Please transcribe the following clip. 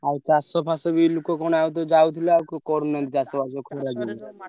ଆଉ ଚାଷଫାଷ ବି ଲୋକ କଣ ଆଉ ତ ଯାଉଥିଲେ ଆଉ କ କରୁନାହାନ୍ତି ଚାଷବାସ।